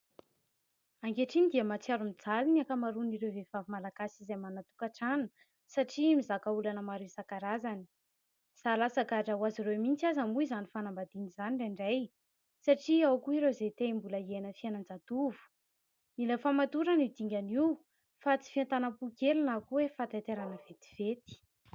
Ankehitriny dia mahatsiaro mijaly ny ankamaroan'ireo vehivavy malagasy izay manana tokantrano satria mizaka olana maro isan-karazany. Zary lasa gadra ho azy ireo mihitsy aza moa izany fanambadiana indraindray satria ao koa ireo izay te mbola hiaina fiainan-jatovo. Mila fahamatorana io dingana io fa tsy fientanam-po kely na koa hoe fahataitairana vetivety.